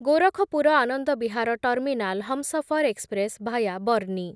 Gorakhpur Anand Vihar terminal Humsafar express via ବର୍ଣ୍ଣି